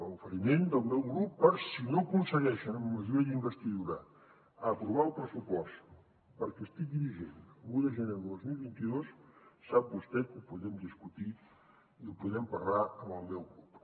oferiment del meu grup per si no aconsegueixen amb majoria d’investidura aprovar el pressupost perquè estigui vigent l’un de gener del dos mil vint dos sap vostè que ho podem discutir i ho podem parlar amb el meu grup